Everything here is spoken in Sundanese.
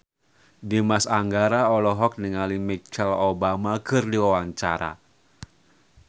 Dimas Anggara olohok ningali Michelle Obama keur diwawancara